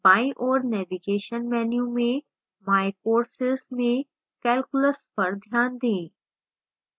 बाईं ओर navigation menu में my courses में calculus पर ध्यान दें